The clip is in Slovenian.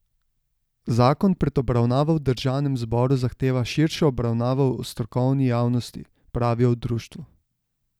Zakon pred obravnavo v državnem zboru zahteva širšo obravnavo v strokovni javnosti, pravijo v društvu.